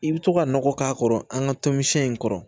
I bɛ to ka nɔgɔ k'a kɔrɔ an ka tɔn in kɔrɔ